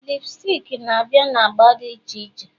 lipsticks na-abịa na agba dị iche iche